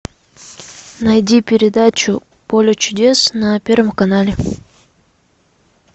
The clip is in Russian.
найди передачу поле чудес на первом канале